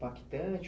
Foi impactante?